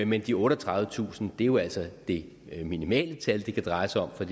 men de otteogtredivetusind er jo altså det minimale tal det kan dreje sig om for